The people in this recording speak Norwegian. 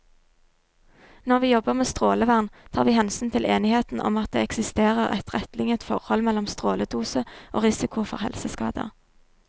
Når vi jobber med strålevern, tar vi hensyn til enigheten om at det eksisterer et rettlinjet forhold mellom stråledose og risiko for helseskader.